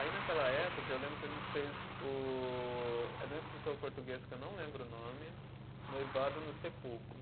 Aí naquela época, eu lembro que a gente fez o, é de um escritor português que eu não lembro o nome, Noivado no Sepulcro.